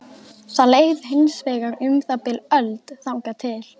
Það leið hins vegar um það bil öld þangað til